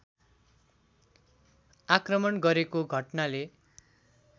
आक्रमण गरेको घटनाले